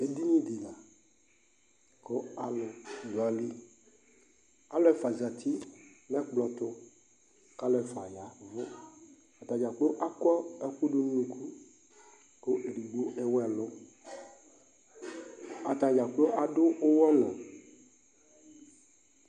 Edini di la kʋ alʋ dʋ ayili Alʋ ɛfua zati nʋ ɛkplɔ tʋ kʋ alʋ ɛfua yavʋ Atadza kplo akɔ ɛkʋ dʋ nʋ unuku kʋ ɛdigbo ewu ɛlʋ Atadza kplo adʋ ʋwɔ nʋ